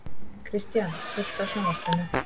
Kristian, kveiktu á sjónvarpinu.